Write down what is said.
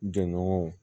Jɔnɲɔgɔnw